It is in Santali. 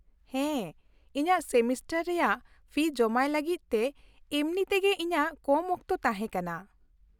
-ᱦᱮᱸ, ᱤᱧᱟᱹᱜ ᱥᱮᱢᱤᱥᱴᱟᱨ ᱨᱮᱭᱟᱜ ᱯᱷᱤ ᱡᱚᱢᱟᱭ ᱞᱟᱹᱜᱤᱫ ᱛᱮ ᱮᱢᱱᱤ ᱛᱮᱜᱮ ᱤᱧᱟᱹᱜ ᱠᱚᱢ ᱚᱠᱛᱚ ᱛᱟᱦᱮᱸ ᱠᱟᱱᱟ ᱾